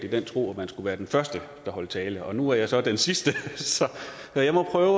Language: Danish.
i den tro at man skulle være den første der holdt tale nu er jeg så den sidste så jeg må prøve